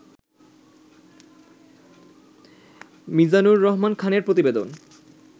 মিজানুর রহমান খানের প্রতিবেদন